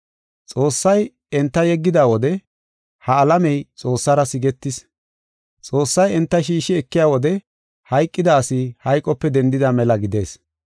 Xoossay enta yeggida wode, ha alamey Xoossara sigetis. Xoossay enta shiishi ekiya wode hayqida asi hayqope dendida mela gidees.